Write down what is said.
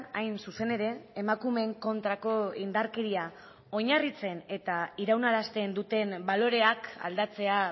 hain zuzen ere emakumeen kontrako indarkeria oinarritzen eta iraunarazten duten baloreak aldatzea